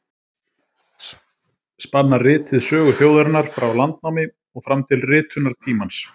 Spannar ritið sögu þjóðarinnar frá landnámi og fram til ritunartímans.